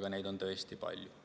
aga neid on tõesti palju.